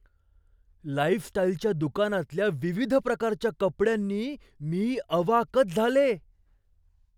लाईफस्टाईलच्या दुकानातल्या विविध प्रकारच्या कपड्यांनी मी अवाकच झाले!